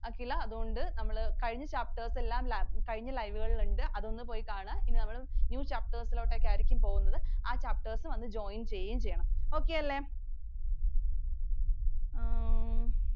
അഖില, അതുകൊണ്ട് നമ്മൾ കഴിഞ്ഞ chapters എല്ലാം കഴിഞ്ഞ live കളിലുണ്ട്. അതൊന്നുപോയി കാണുക. ഇനി new chapters ലോട്ടെക്കയായിരിക്കും പോകുന്നത്. ആ chapters വന്ന് join ചെയ്യുകയും ചെയ്യണം. Okay അല്ലെ?